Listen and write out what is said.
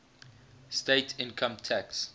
state income tax